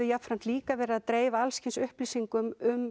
líka verið að dreifa upplýsingum um